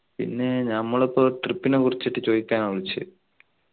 പിന്നെ നമ്മളിപ്പോ trip നെ കുറിച്ചിട്ട ചോയിക്കാന വിളിച്ചേ